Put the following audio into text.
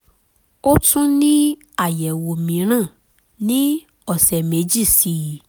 ó tún ní àyẹ̀wò mìíràn ní ọ̀sẹ̀ méjì sí i